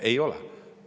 Ei ole!